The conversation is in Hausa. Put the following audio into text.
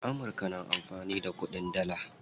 Amurka na amfani da kuɗin dalla.